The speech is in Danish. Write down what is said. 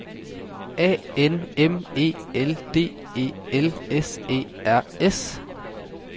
A N M E L D E L S E R S